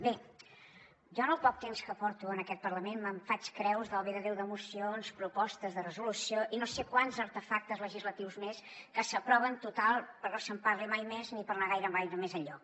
bé jo en el poc temps que porto en aquest parlament me’n faig creus del bé de déu de mocions propostes de resolució i no sé quants artefactes legislatius més que s’aproven total perquè no se’n parli mai més ni per anar gaire més enlloc